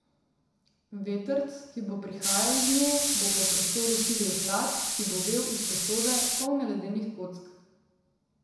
Vetrc, ki bo prihajal iz nje, bo po prostoru širil hlad, ki bo vel iz posode, polne ledenih kock.